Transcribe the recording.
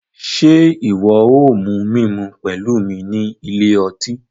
Ṣe iwọ o mu mímú pẹlu mí ní ilé ọtí?